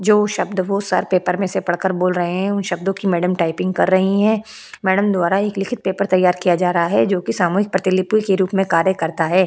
जो शब्द वह सर पेपर में से पढ़ कर बोल रहे हैं उन शब्दों की मैडम टाइपिंग कर रही है मैडम द्वारा एक लिखित पेपर तैयार किया जा रहा है जो की सामूहिक प्रतिलिपि के रूप में कार्य करता है।